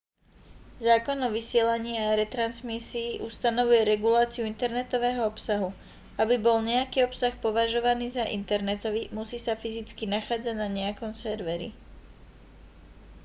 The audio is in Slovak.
zákon o vysielaní a retransmisii ustanovuje reguláciu internetového obsahu aby bol nejaký obsah považovaný za internetový musí sa fyzicky nachádzať na nejakom serveri